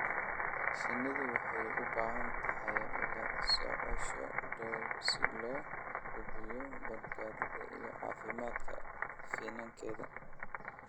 Shinnidu waxay u baahan tahay la socosho dhow si loo hubiyo badbaadada iyo caafimaadka finankeeda.